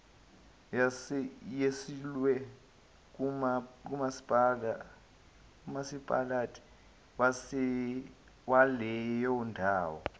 yesulwe ngumasipalati waleyondawo